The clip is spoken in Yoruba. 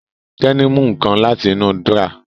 Tẹ́ní mú nǹkan láti inú dúrọ́à